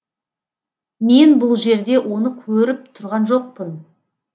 мен бұл жерде оны көріп тұрған жоқпын